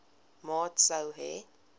maat sou hê